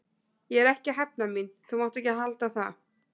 Ég er ekki að hefna mín, þú mátt ekki halda það.